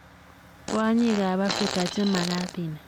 kwonyikab afrika che magat inai.